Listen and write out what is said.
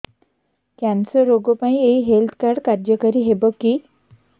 cancer ରୋଗ ପାଇଁ ଏଇ ହେଲ୍ଥ କାର୍ଡ କାର୍ଯ୍ୟକାରି ହେବ କି